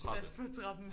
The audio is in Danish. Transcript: Pas på trappen